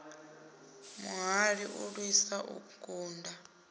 muhali u lwisa u kunda